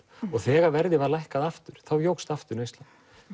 þegar verðið var lækkað aftur þá jókst aftur neyslan